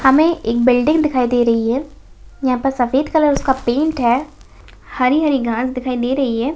हमे एक बिल्डिंग दिखाई दे रही है यहां पर सफेद कलर उसका पेट है हरी-हरी घास दिखाई दे रही है।